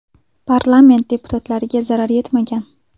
Parlament deputatlariga zarar yetmagan.